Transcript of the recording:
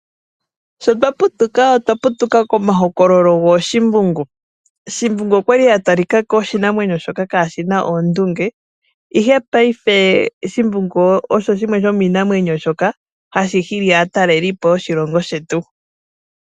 Sho twa putuka otwa putuka komahokololo gooshimbungu. Shimbungu okwali a talika ko oshinamwenyo shoka kaa shi na oondunge, ihe paife shimbungu osho shimwe shomiinamwenyo shoka hashi hili aatalelipo yoshilongo shetu.